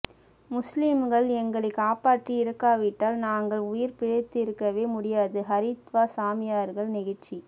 முஸ்லிம்கள் எங்களை காப்பாற்றி இருக்காவிட்டால் நாங்கள் உயிர் பிழைத்திருக்கவே முடியாது ஹரித்வார் சாமியார்கள் நெகிழ்ச்சி